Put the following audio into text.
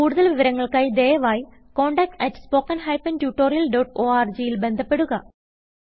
കുടുതൽ വിവരങ്ങൾക്കായി ദയവായി contact at spoken hyphen tutorial dot orgൽ ബന്ധപ്പെടുക